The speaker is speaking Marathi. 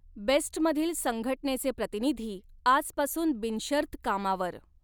बेस्टमधील संघटनेचे प्रतिनिधी आजपासून बिनशर्त कामावर.